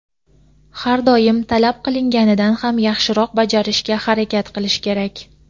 har doim talab qilinganidan ham yaxshiroq bajarishga harakat qilish kerak).